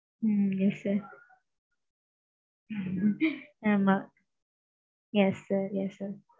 ம்ம் yes sir. Hmm ஆமாம். yes sir yes sir.